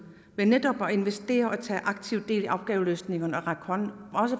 ved netop at investere og tage aktivt del i opgaveløsningerne og række hånden